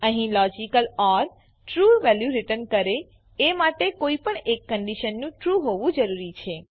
અહીં logical or true value return કરે એ માટે કોઈપણ એક કંડીશનનું ટ્રૂ હોવું જરૂરી છે